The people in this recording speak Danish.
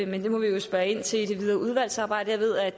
men det må vi jo spørge ind til i det videre udvalgsarbejde jeg ved at